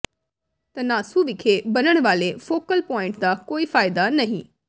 ਧੰਨਾਸੁ ਵਿਖੇ ਬਣਨ ਵਾਲੇ ਫੋਕਲ ਪੁਆਇੰਟ ਦਾ ਕੋਈ ਫਾਇਦਾ ਨਹੀਂ